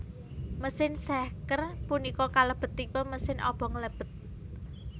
Mesin sehker punika kalebet tipe mesin obong lebet